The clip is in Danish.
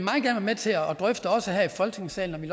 med til at drøfte også her i folketingssalen og vi